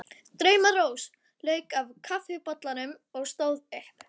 Drauma-Rósa lauk úr kaffibollanum og stóð upp.